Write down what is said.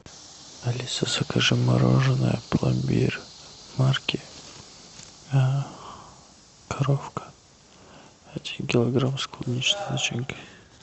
алиса закажи мороженое пломбир марки коровка один килограмм с клубничной начинкой